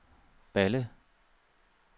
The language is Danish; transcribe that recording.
Balle